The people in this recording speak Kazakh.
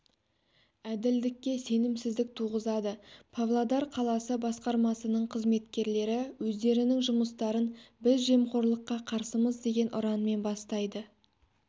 әділдікке сенімсіздік туғызады павлодар қаласы басқармасының қызметкерлері өздерінің жұмыстарын біз жемқорлыққа қарсымыз деген ұранмен бастайды